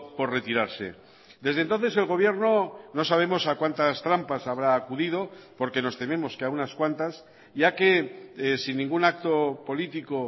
por retirarse desde entonces el gobierno no sabemos a cuantas trampas habrá acudido porque nos tememos que a unas cuantas ya que sin ningún acto político